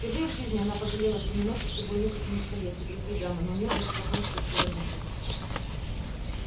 впервые в жизни она пожалела что не носит с собой нюхательных солей как другие дамы но у нее даже флакончика такого не было